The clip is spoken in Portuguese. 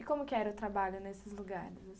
E como era o trabalho nesses lugares, assim?